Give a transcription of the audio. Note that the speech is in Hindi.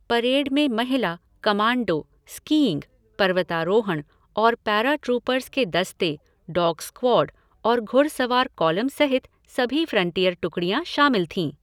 परेड में महिला, कमांडो, स्कीइंग, पर्वतारोहण और पैराट्रूपर्स के दस्ते, डॉग स्क्वायड और घुड़सवार कॉलम सहित सभी फ़्रंटियर टुकड़ियाँ शामिल थीं।